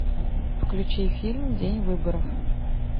включи фильм день выборов